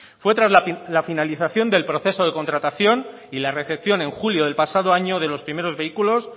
fue tras la finalización del proceso de contratación y la recepción en julio del pasado año de los primeros vehículos